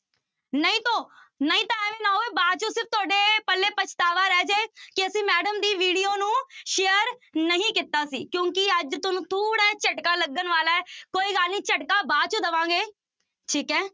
ਨਹੀਂ ਤੋਂ ਨਹੀਂ ਤਾਂ ਇਵੇਂ ਨਾ ਹੋਵੇ ਬਾਅਦ ਚੋਂ ਫਿਰ ਤੁਹਾਡੇ ਪੱਲੇ ਪਛਤਾਵਾ ਰਹਿ ਜਾਏ ਕਿ ਅਸੀਂ madam ਦੀ video ਨੂੰ share ਨਹੀਂ ਕੀਤਾ ਸੀ ਕਿਉਂਕਿ ਅੱਜ ਤੁਹਾਨੂੰ ਥੋੜ੍ਹਾ ਜਿਹਾ ਝਟਕਾ ਲੱਗਣ ਵਾਲਾ ਹੈ, ਕੋਈ ਗੱਲ ਨੀ ਝਟਕਾ ਬਾਅਦ ਚ ਦੇਵਾਂਗੇ, ਠੀਕ ਹੈ।